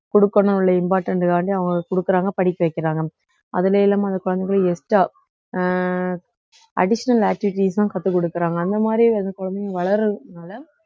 கொடுக்கணும் உள்ள important காண்டி அவுங்க கொடுக்குறாங்க படிக்க வைக்கிறாங்க அதுலலாம் அந்த குழந்தைங்களை extra அ அஹ் additional activities தான் கத்துக் கொடுக்குறாங்க அந்த மாதிரி அந்த குழந்தைங்க வளர்றதுனால